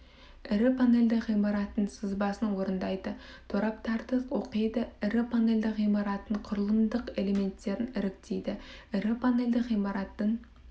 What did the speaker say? ірі панельді ғимараттың сызбасын орындайды тораптарды оқиды ірі панельді ғимараттың құрылымдық элементтерін іріктейді ірі панельді ғимараттың